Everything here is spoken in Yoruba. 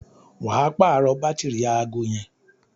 wà á pààrọ̀ bátìrì aago yẹn